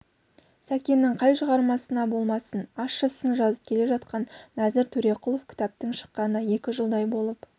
сәкеннің қай шығармасына болмасын ащы сын жазып келе жатқан нәзір төреқұлов кітаптың шыққанына екі жылдай болып